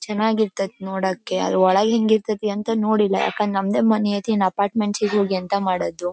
ಚೆನ್ನಾಗಿರತೈತಿ ನೋಡೋಕೆ ಆದ್ರೆ ಒಳಗ್ ಹೆಂಗ್ ಇರತೈತಿ ಅಂತ ನೋಡಿಲ್ಲ ಯಾಕಂದ್ರೆ ನಮ್ದೇ ಮನೆ ಐತಿ ನಾವ್ ಅಪಾರ್ಟ್ಮೆಂಟ್ ಎಂಥ ಮಾಡೋದು .